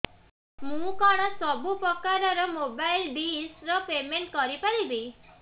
ମୁ କଣ ସବୁ ପ୍ରକାର ର ମୋବାଇଲ୍ ଡିସ୍ ର ପେମେଣ୍ଟ କରି ପାରିବି